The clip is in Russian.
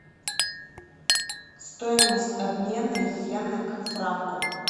стоимость обмена йены к франку